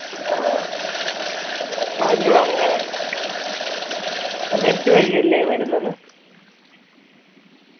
ആ net ഉ വഴിയല്ലേ വരുന്നത്